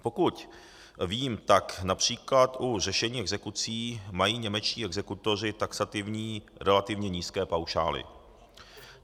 Pokud vím, tak například u řešení exekucí mají němečtí exekutoři taxativní relativně nízké paušály.